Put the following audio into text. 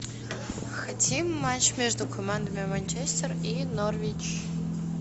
хотим матч между командами манчестер и норвич